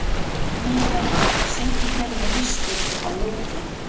Minerva, syngdu fyrir mig „Haustið á liti“.